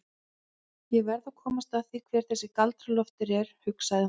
Ég verð að komast að því hver þessi Galdra-Loftur er, hugsaði hún.